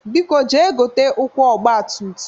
Biko jee gote ụkwụ ọgbatumtum!